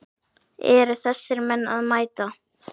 Eru þessir menn að mæta?